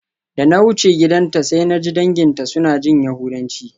Da na wuce gidanta sai naji danginta suna jin yahudanci.